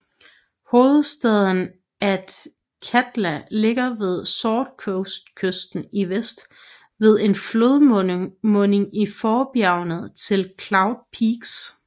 Hovedstaden Athkatla ligger ved Sword Coast kysten i vest ved en flodmunding i forbjergene til Cloud Peaks